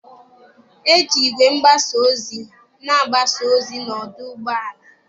E ji igwe ngbasa ozi na agbasa ozi n'ọdụ ụgbọ ala.